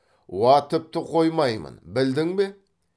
уа тіпті қоймаймын білдің бе